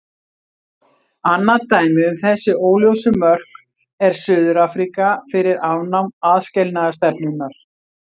Annað dæmi um þessi óljósu mörk er Suður-Afríka fyrir afnám aðskilnaðarstefnunnar.